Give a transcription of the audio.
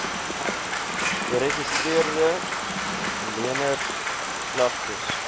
geregistreede leners klagtes